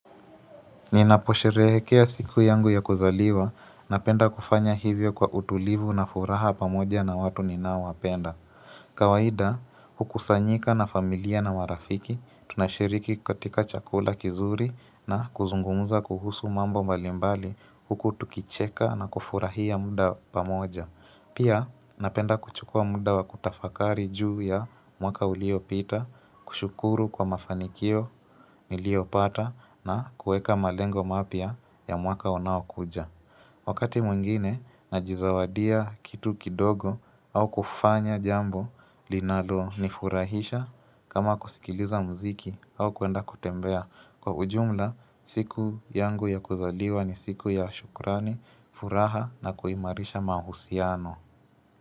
Ninaposherehekea siku yangu ya kuzaliwa napenda kufanya hivyo kwa utulivu na furaha pamoja na watu ninao wapenda kawaida hukusanyika na familia na marafiki tunashiriki katika chakula kizuri na kuzungumza kuhusu mambo mbalimbali huku tukicheka na kufurahia muda pamoja Pia napenda kuchukua muda wa kutafakari juu ya mwaka uliopita, kushukuru kwa mafanikio niliyopata na kuweka malengo mapya ya mwaka unaokuja. Wakati mwingine najizawadia kitu kidogo au kufanya jambo linalonifurahisha kama kusikiliza muziki au kwenda kutembea. Kwa ujumla siku yangu ya kuzaliwa ni siku ya shukrani furaha na kuimarisha mahusiano.